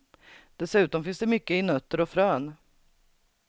Dessutom finns det mycket i nötter och frön.